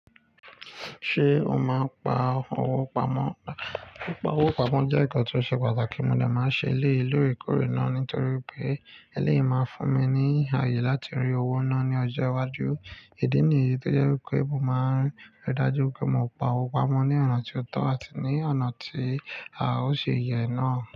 Ṣé o máa ń pa owó pamọ́? Pa owó pamọ́ jẹ́ ǹkan tó ṣe pàtàkì, mo dà máa ń ṣe léè lóòrèkóòrè náà nítorí pé, eleyii máa fún mi ní ààyè láti rí owó náà ní ọjọ́ iwájú. Ìdí nìyí tó jẹ́ wípé mo máa ń rí dájú pé mo pa owó pamọ́ ní ọ̀nà tí ó tọ́ àti ní ọ̀nà tí a ó ṣi yẹ náà.